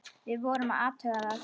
Við vorum að athuga það.